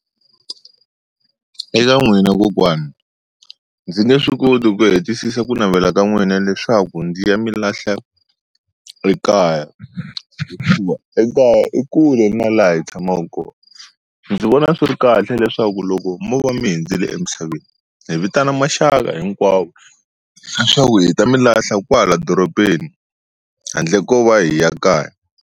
Eka n'wina kokwani ndzi nge swi koti ku hetisisa ku navela ka n'wina leswaku ndzi ya mi lahla ekaya, hikuva ekaya i kule na laha hi tshamaku kona ndzi vona swi ri kahle leswaku loko mo va mi hundzile emisaveni hi vitana maxaka hinkwawo leswaku hi ta mi lahla kwala doropeni handle ko va hi ya kaya.